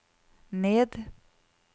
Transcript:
ned